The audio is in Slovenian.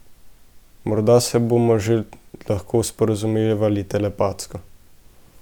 Morda se bomo že lahko sporazumevali telepatsko.